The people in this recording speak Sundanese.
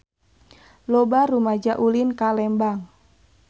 Loba rumaja ulin ka Lembang